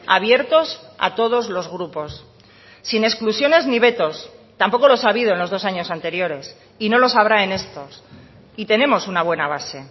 abiertos a todos los grupos sin exclusiones ni vetos tampoco los ha habido en los dos años anteriores y no los habrá en estos y tenemos una buena base